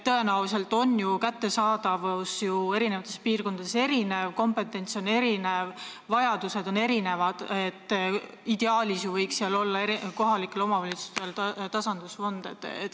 Tõenäoliselt on ju kättesaadavus piirkonniti erinev, kompetents on erinev, vajadused on erinevad – ideaalis võiks kohalikel omavalitsustel olla tasandusfond.